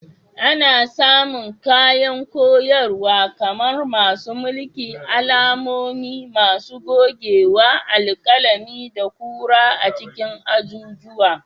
Ana samun kayan koyarwa kamar masu mulki, alamomi, masu gogewa, alƙalami, da kura a cikin azuzuwa.